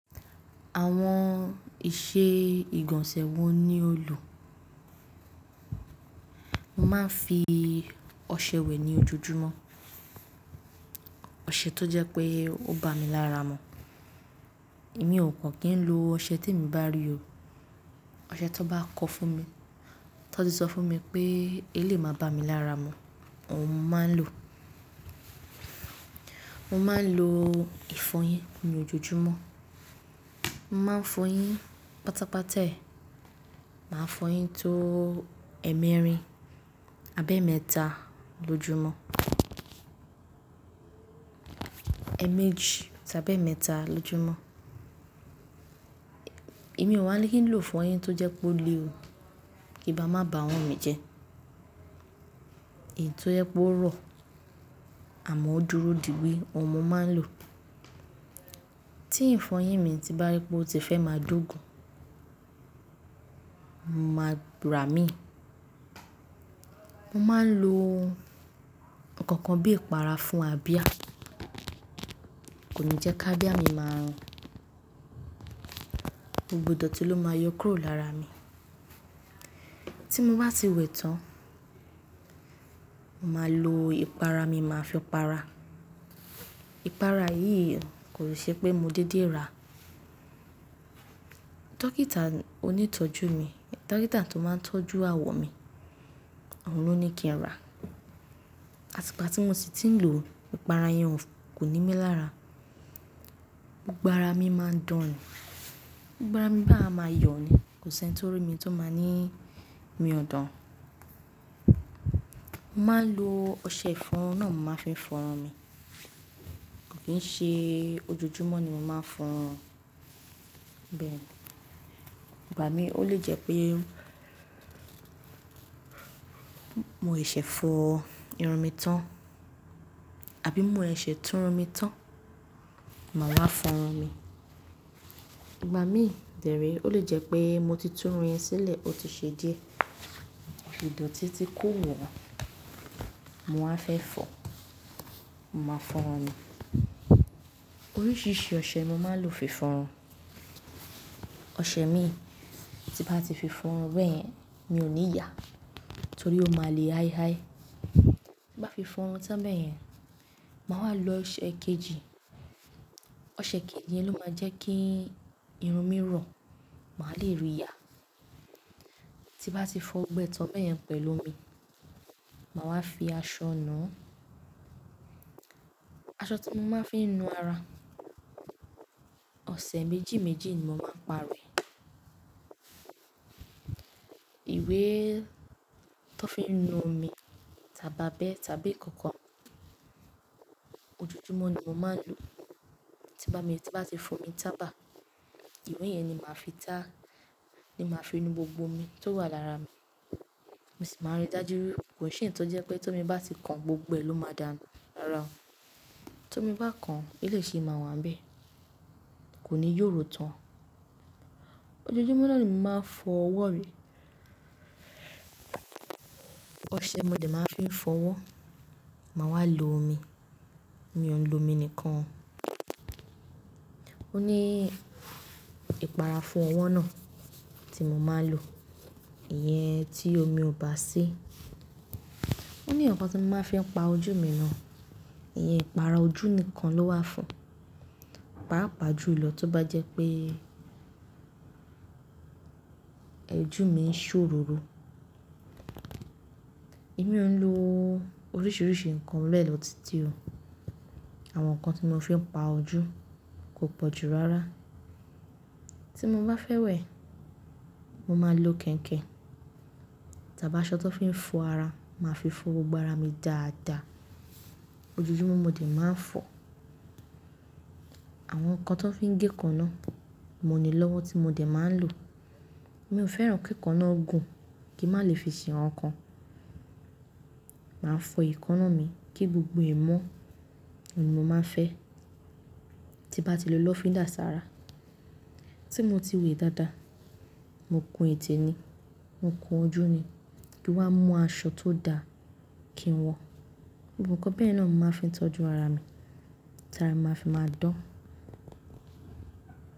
Àwọn ìṣe ìgọ̀nsẹ̀ wọn ni ó lò. Mo máa ń fi ọṣẹ wẹ̀ ní ojoojúmọ́, ọṣẹ tó jẹ́ pé ó bá mi lára mu. Èmi ò kan kí ń lo ọṣẹ tí èmi bá rí o. Ọṣẹ tó bá kọ́ fún mi, tó ti sọ fún mi pé eléyìí máa bá mi lára mu, òun mo máa ń lò. Mo máa ń lo ìfọyín ní ojoojúmọ́. Mo máa ń fọyín pátápátá ẹ, màá fọyín tó ẹ́mẹ́rin abẹ́ẹ̀mẹ́ta lójúmọ́. Ẹ̀ẹ̀mejì tàbí ẹ̀ẹ́mẹ́ta lójúmọ́. Èmi ò wá ní kí n lo ìfọyín tó jẹ́ kó le o, kí bá má bá awọn mi jẹ. Èyí tó jẹ́ pe ó rọ̀, àmọ́ ó dúró dìí gbí, òun mo máa ń lò. Tí ìfọyín mi ti bá rí pé ó ti fẹ́ máa dógùn, mo máa ra mí. Mo máa ń lo nǹkan kan bí ìpara fún a bíà. Kò ní jẹ́ ká bíà mi máa run. Gbogbo dọ̀ tí ló máa yọ kúrò lára mi. Tí mo bá ti wẹ̀ tán, mo máa lo ìpara mi, màá fi para. Ìpara yìí kò ṣe pé mo dédé ra. Dọ́kítà onítọ́jú mi, dọ́kítà tó máa ń tọ́jú àwọ̀ mi, òun ló ní kí n rà á. Àti ìgbà tí mo sì ti ń lò ó, ìpara yẹn kò ní mí lára. Gbogbo arà mi máa ń dán, Gbogbo arà mi báyìí a máa yọ̀ ni, kò sí ẹni tó rí mi tó máa ní mi ọ̀dàn. Mo máa ń lo ọṣẹ ìfọrun náà, mo máa ń fi fọrun mi. Kò kì ń ṣe ojoojúmọ́ ni mo máa ń fọrun. Bẹ́ẹ̀ ni, ìgbà mí ó lè jẹ́ pé mo ṣẹ̀ṣẹ̀ fọ irun mi tán àbí mo ṣẹ̀ṣẹ̀ tún irun mi tán, màá wá fọrun mi. Ìgbà mí dẹré ó lè jẹ́ pé mo ti tún irun yẹn sílẹ̀, ó ti ṣe díẹ̀, idotí ti kò wọ́, mo wáa fẹ́ fọ, mo máa fọrun mi. Oríṣìíríṣìí ọṣẹ ni mo máa ń lò fi fọrun. Ọṣẹ mi tí bá ti fi fọrun bẹ́ẹ̀ yẹn, mi ò ní yà á, torí ó máa le háihái. Tí bá fi fọrun tán bẹ́ẹ̀ yẹn, màá wá lo ọṣẹ kejì. Ọṣẹ kejì yẹn ló máa jẹ́ kí irun mi rọ, màá le ri ya. Tí bá ti fọ gbogbo ẹ́tàn bẹ́ẹ̀ yẹn pẹ̀lú omi, màá wá fi aṣọ nùu aṣọ tí mo máa ń fi nu ara, ọṣẹ méjì méjì ni mo máa parọ rẹ̀. Ìwé tó fi ń nu omi tàbí abẹ́ tàbí nkankan, ojoojúmọ́ ni mo máa ń lò ó. Tí bá mi, tí bá ti fo mi tábà, ìwé yẹn ni màá fi tá, ni màá fi nu gbogbo omi tó wà lára mi. Mo sì máa rí dájú wípé kò ṣe ẹ̀yi to jẹ́ pé tó mi bá ti kan gbogbo ẹ ló máa dànù rara o, Tó mi bá kan, eleyii ṣi máa wà níbẹ̀, kò ní yọ̀ró tán. Ojoojúmọ́ náà ni mo máa ń fọ ọwọ́ rí. Ọṣẹ mo dẹ̀ máa ń fi fọ ọwọ́, màá wá lo omi. Mi ò ń lo omi nìkan. Ó ní ìpara fún ọwọ́ náà tí mo máa ń lò. Ìyẹn tí omi ò bá sí. Ó ní nkan tí mo máa ń fi pa ojú mi náà. Ìyẹn ìpara ojú nìkan ló wà fún. Pààpàá jú lọ tó bá jẹ́ pé Ojù mi ń ṣòróró. Èmi ò ń lo oríṣiríṣi nǹkan bẹ́ẹ̀lọ́tí tì o. Àwọn nǹkan tí mo fi ń pa ojú kò pọ̀ jù rárá. Tí mo bá fẹ́ wẹ̀, mo máa ń lo kẹ̀iǹkiẹ̀n tàbí aṣọ tó fi ń fọ ara, màá fi fọ gbogbo arà mi dáadáa. Ojoojúmọ́ mo dẹ̀ máa ń fọ. Àwọn nǹkan tó fi ń gé eekánnáà, mo nílọ́wọ́ tí mo dẹ̀ máa ń lò. Mi ò fẹ́ràn kí eekanna ogùn kí má lè fi ṣe nǹkan. Màá fọ eekanna mi kí gbogbo ẹ mọ́, òun ni mo máa ń fẹ́. Tí bá ti lò lọ́fíndà sára, tí mo ti wẹ̀ dáadáa, mo kun ètè mi, mo kun ojú mi, kí wá mu aṣọ tó da kí n wọ. Gbogbo-ǹkan bẹ́ẹ̀ náà ni mo máa ń fi tọ́jú ara mi, tí ara mi máa fi máa dán.